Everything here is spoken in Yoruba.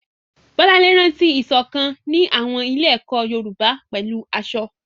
Bolanle rántí ìṣọ̀kan ní àwọn ilé-ẹ̀kọ́ Yorùbá pẹ̀lú aṣọ.